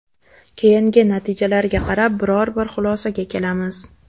Keyingi natijalarga qarab biror-bir xulosaga kelamiz.